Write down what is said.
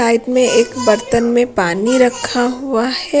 Side में एक बर्तन में पानी रखा हुआ है।